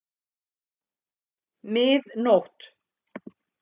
Mið nótt!